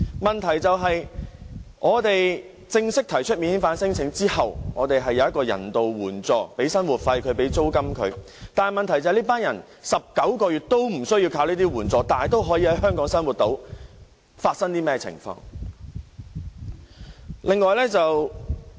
在他們正式提出免遣返聲請後，我們會提供人道援助，包括生活費和租金，但問題是，這群人在19個月內都無須靠這些援助仍能在香港生活，究竟是甚麼的一回事？